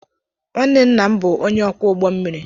Nwanne nna m bụ ónyé ọkwọ ụgbọ mmiri.